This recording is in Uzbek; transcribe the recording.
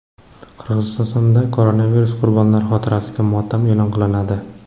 Qirg‘izistonda koronavirus qurbonlari xotirasiga motam e’lon qilinadi.